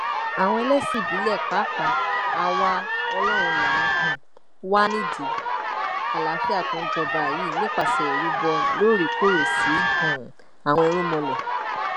àwa ẹlẹsìn ìbílẹ pàápàá àwa ọlọrun la um wà nídìí àlàáfíà tó ń jọba yìí nípasẹ ìrúbọ lóòrèkóòrè sí um àwọn irúnmọlẹ